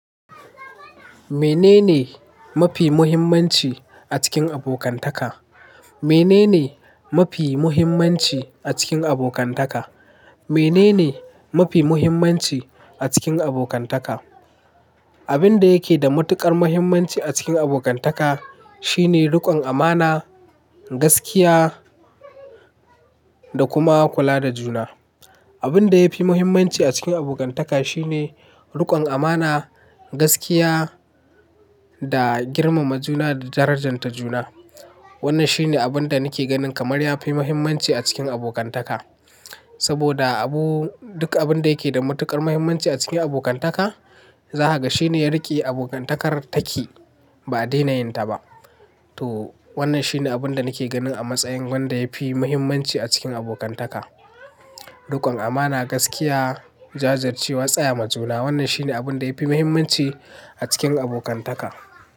Menene mafi muhimmanci a cikin abokantaka? Menene mafi muhimmanci a cikin abokantaka? Menene mafi muhimmanci a cikin abokantaka? Abin da yake da matuƙar muhimmanci a cikin abokantaka shine riƙon amana, gaskiya da kuma kula da juna. Abin da yafi muhimmanci a cikin abokantaka shine riƙon amana, gaskiya da girmama juna da darajanta juna. Wannan shine abin da nake ganin kamar yafi muhimmanci a cikin abokantaka. Saboda abu, duk abun da yake da matuƙar muhimmanci a cikin abokantaka, zahaga shine ya riƙe abokantakar taki ba a daina yin ta ba. To wannan shine abin da nake ganin a matsayin wanda yafi muhimmanci a cikin abokantaka. Riƙon amana, gaskiya, jajircewa, tsaya ma juna. Wannan shine abin da yafi muhimmanci a cikin abokantaka.